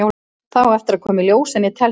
Það á eftir að koma í ljós en ég tel það.